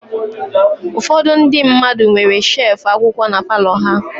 Ụfọdụ ndị mmadụ nwere shefu akwụkwọ na palọ ha.